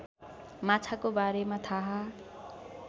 माछाको बारेमा थाहा